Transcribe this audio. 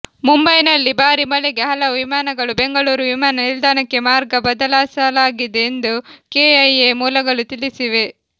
ಮುಂಬೈನಲ್ಲಿ ಭಾರಿ ಮಳೆಗೆ ಹಲವು ವಿಮಾನಗಳು ಬೆಂಗಳೂರು ವಿಮಾನ ನಿಲ್ದಾಣಕ್ಕೆ ಮಾರ್ಗ ಬದಲಾಯಿಸಲಾಗಿದೆ ಎಂದು ಕೆಐಎ ಮೂಲಗಳು ತಿಳಿಸಿವೆ